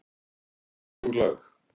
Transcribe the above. Hug og lag